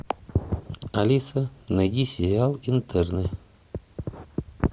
алиса найди сериал интерны